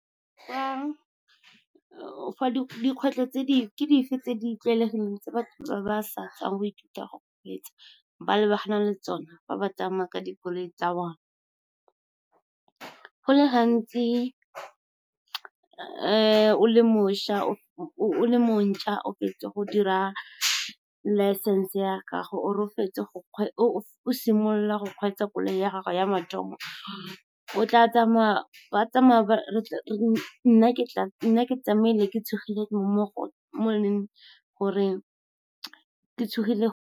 Dikgwetlho ke dife tse di tlwaelegileng tse batho ba ba sa tswang go ithuta go kgweetsa ba lebagana le tsona fa ba tsamaya ka dikoloi tsa bone? Go le gantsi o le montšhwa o fetsa go dira license ya gago, or o o simolola go kgweetsa koloi ya gago ya mathomo, nna ke tsamaile ke tshogile mo e leng gore ke tshogile.